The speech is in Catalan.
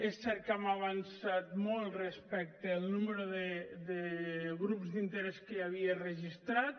és cert que hem avançat molt respecte al número de grups d’interès que hi havia registrat